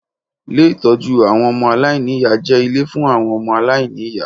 Ié ìtọ́jú àwọn ọmọ aláìníyá jẹ ilé fun àwon ọmọ aláìníyá